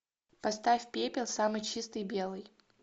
поставь пепел самый чистый белый